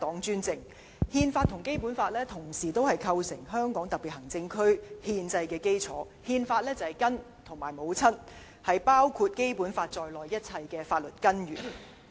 《憲法》和《基本法》構成香港特別行政區的憲制基礎，《憲法》是根、是母親，是包括《基本法》在內的一切法律根源。